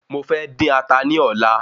Mo fẹ́ dín ata ní ọlá